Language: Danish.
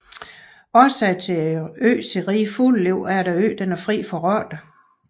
Årsagen til øens rige fugleliv er at øen er fri for rotter